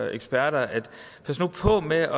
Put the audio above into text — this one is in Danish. eksperter pas nu på med